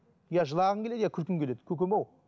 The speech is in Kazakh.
я жылағың келеді я күлкің келеді көкем ау